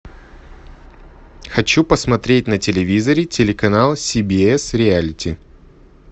хочу посмотреть на телевизоре телеканал си би эс реалити